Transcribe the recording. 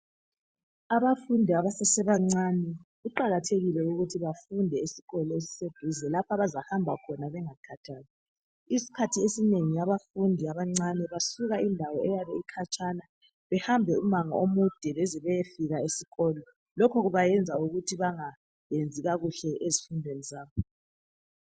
Abafundi abasebancane kuqakathekile ukuthi bafunde esikolo esiseduze lapho abazahamba khona bengakhathali. Isikhathi esinengi abafundi abancane basuka endawo eyabe ikhatshana behamba umango omude beze beyefika esikolo. Lokhu kuyenza bengayenzi kakuhle ezifundweni zabo.